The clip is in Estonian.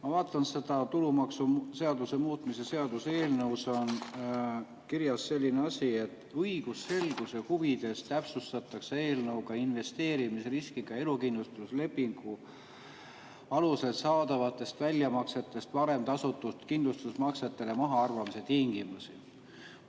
Ma vaatan seda tulumaksuseaduse muutmise seaduse eelnõu, kus on kirjas selline asi: "Õigusselguse huvides täpsustatakse eelnõuga investeerimisriskiga elukindlustuslepingu alusel saadavatest väljamaksetest varem tasutud kindlustusmaksete mahaarvamise tingimusi.